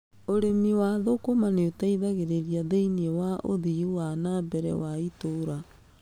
Ũrĩmi wa thũkũma nĩuteithagĩrĩria thĩiniĩ wa ũthii wa na mbere wa itũũra.